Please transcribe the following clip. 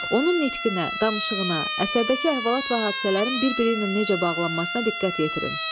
Onun nitqinə, danışığına, əsərdəki əhvalat və hadisələrin bir-biri ilə necə bağlanmasına diqqət yetirin.